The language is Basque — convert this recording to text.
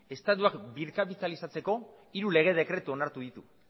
estatuak birkapitalizatzeko hiru lege dekretu onartu ditu